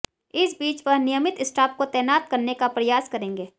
इस बीच वह नियमित स्टाफ को तैनात करने का प्रयास करेंगे